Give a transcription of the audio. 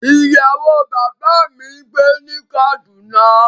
Iyawo baba mi n gbe ni Kaduna